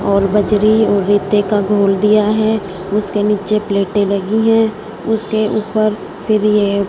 और बजरी और इटे का घोल दिया है उसके नीचे प्लेटे लगी है उसके ऊपर फिर ये--